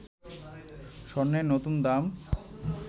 স্বর্ণের নতুন দাম